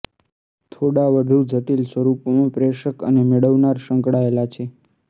થોડા વધુ જટિલ સ્વરૂપમાં પ્રેષક અને મેળવનાર સંકળાયેલા છે